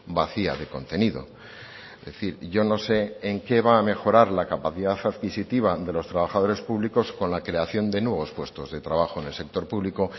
vacía de contenido es decir yo no sé en qué va a mejorar la capacidad adquisitiva de los trabajadores públicos con la creación de nuevos puestos de trabajo en el sector público